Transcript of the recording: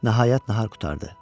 Nəhayət nahar qurtardı.